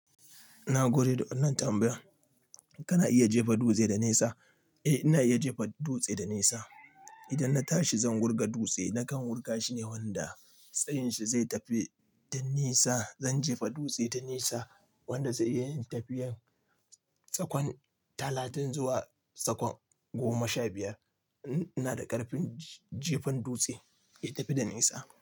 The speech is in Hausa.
Na gode da wannan tambayan. Kana iya jefa dutse da nesa? Eh, ina iya jefa dutse da nesa. Idan na tashi zan wurga dutse, nakan wurga shi ne wanda tsayin shi zai tafi da nisa. Zan jefa dutse da nisa wanda zai yi tafiyan tsakon talatin zuwa tsakon goma sha biyar. Ina da ƙarfin jefan dutse ya tafi da nesa.